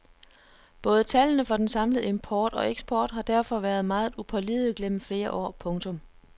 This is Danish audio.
Både tallene for den samlede import og eksport har derfor været meget upålidelige gennem flere år. punktum